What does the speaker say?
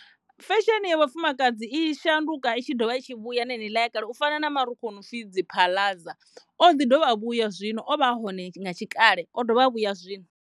Fesheni ya vhafumakadzi i shanduka i tshi dovha i tshi vhuya na heneiḽa ya kale u fana na marukhu a no pfhi dziphaḽaza o ḓi dovha a vhuya zwino o vha a hone nga tshikale o dovha a vhuya zwino.